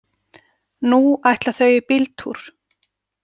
Nú ætla þau í bíltúr.